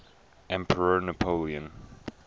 emperor napoleon